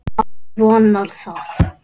Maður vonar það.